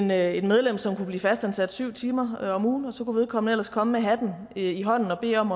med et medlem som kunne blive fastansat syv timer om ugen og så kunne vedkommende ellers komme med hatten i hånden og bede om